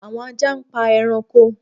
Awọn aja npa ẹranko